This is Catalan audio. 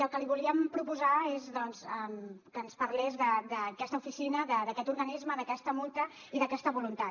el que li volíem proposar és doncs que ens parlés d’aquesta oficina d’aquest organisme d’aquesta multa i d’aquesta voluntat